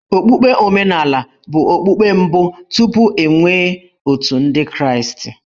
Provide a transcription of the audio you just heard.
Okpukpe omenala bụ okpukpe mbụ tupu e nwee Otù Ndị Kraịstị.